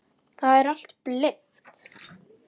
Það er allt blint.